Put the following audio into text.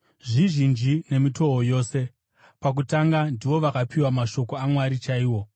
Zvizhinji nemitoo yose! Pakutanga, ndivo vakapiwa mashoko aMwari chaiwo.